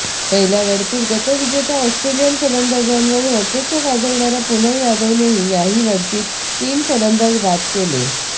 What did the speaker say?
पहिल्या लढतीत गतविजेत्या ऑस्ट्रेलियन फलंदाजांवर वर्चस्व गाजवणाऱ्या पूनम यादवने याही लढतीत तीन फलंदाज बाद केले